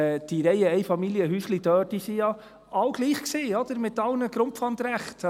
Diese Reiheneinfamilienhäuschen, die waren ja alle gleich, mit allen Grundpfandrechten.